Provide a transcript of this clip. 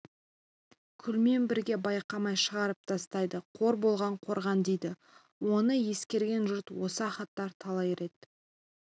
күлмен бірге байқамай шығарып тастайды қор болған қорған дейді оны есіркеген жұрт осы ахаттар талай рет